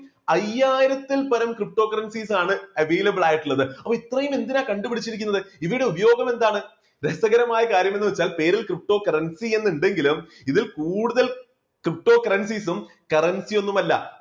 അയ്യായിരത്തിൽ പരം ptocurrencies ആണ് available ആയിട്ടുള്ളത്. അപ്പോ ഇത്രയും എന്തിനാ കണ്ടുപിടിച്ചിരിക്കുന്നത് ഇവയുടെ ഉപയോഗം എന്താണ്? രസകരമായ കാര്യം എന്നു വച്ചാൽ പേരിൽ ptocurrency എന്നുണ്ടെങ്കിലും ഇതിൽ കൂടുതൽ ptocurrencies ഉം currency ഒന്നുമല്ല